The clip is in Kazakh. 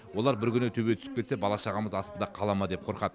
олар бір күні төбе түсіп кетсе бала шағамыз астында қала ма деп қорқады